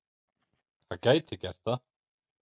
Það gæti gert það.